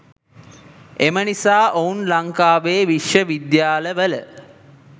එම නිසා ඔවුන් ලංකාවේ විශ්ව විද්‍යාල වල